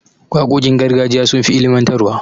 Waƙoƙin gargajiya sun fi ilimantarwa.